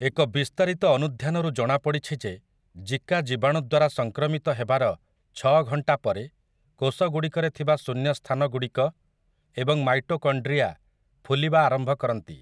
ଏକ ବିସ୍ତାରିତ ଅନୁଧ୍ୟାନରୁ ଜଣାପଡ଼ିଛି ଯେ ଜିକା ଜୀବାଣୁ ଦ୍ୱାରା ସଂକ୍ରମିତ ହେବାର ଛଅ ଘଣ୍ଟା ପରେ କୋଷଗୁଡ଼ିକରେ ଥିବା ଶୂନ୍ୟ ସ୍ଥାନଗୁଡ଼ିକ ଏବଂ ମାଇଟୋକଣ୍ଡ୍ରିଆ ଫୁଲିବା ଆରମ୍ଭ କରନ୍ତି ।